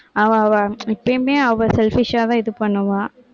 அவ அவ எப்பையுமே அவள் selfish ஆதான் இது பண்ணுவா